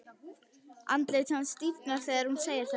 Andlit hans stífnar þegar hún segir þetta.